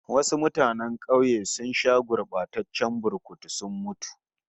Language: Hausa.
Wasu mutanen kauye sun sha gurbataccen burkutu sun mutu